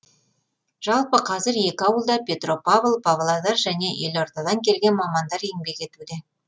жалпы қазір екі ауылда петропавл павлодар және елордадан келген мамандар еңбек етуде